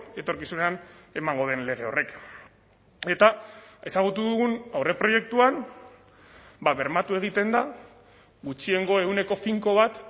etorkizunean emango den lege horrek eta ezagutu dugun aurreproiektuan bermatu egiten da gutxiengo ehuneko finko bat